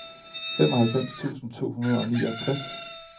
femoghalvfems tusind to hundrede og niogtres